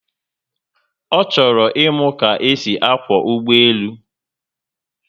O choro imu ka-esi akwo ugboelu